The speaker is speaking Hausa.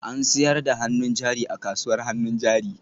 An sayar da hannun jari a kasuwar hannun jari?